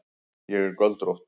Ég er göldrótt.